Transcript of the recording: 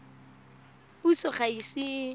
puso ga e ise e